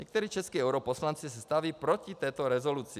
Někteří čeští europoslanci se staví proti této rezoluci.